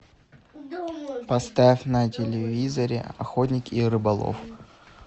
поставь на телевизоре охотник и рыболов